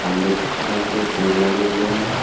और लिप्सटन के पेड़ लगे हुए हैं।